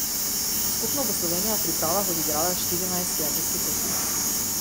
Skupno bo Slovenija v pripravah odigrala štirinajst prijateljskih tekem.